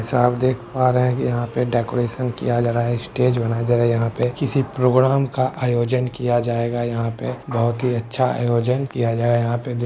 जैसा आप देख पा रहे है कि यहाँ पे डेकोरेशन किया जा रहा है स्टेज बनाया जा रहा है यहाँ पे किसी प्रोग्राम का आयोजन किया जाएगा यहाँ पे बहुत ही अच्छा आयोजन किया गया है यहाँ पे--